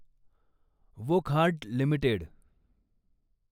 Wockhardt limited